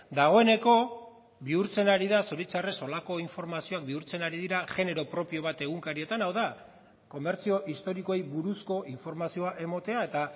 dagoeneko bihurtzen ari da zoritxarrez holako informazioak bihurtzen ari dira genero propio bat egunkarietan hau da komertzio historikoei buruzko informazioa ematea eta